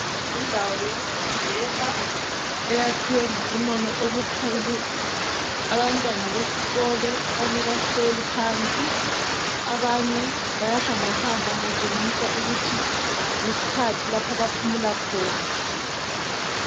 Indawo yokufundela eyakhiwe ngobunono obukhulu abantwana besikolo abanye bahleli phansi abanye bayahambahamba kutshengisa ukuthi yisikhathi lapho abaphumula khona.